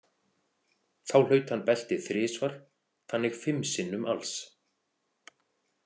Þá hlaut hann beltið þrisvar þannig fimm sinnum alls.